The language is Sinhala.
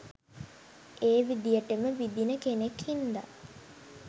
ඒ විදියටම විදින කෙනෙක් හින්දා